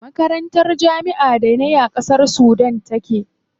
Makarantar jami'ar da nayi a ƙasar Sudan take.